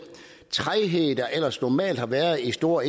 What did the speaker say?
træghed der ellers normalt har været i store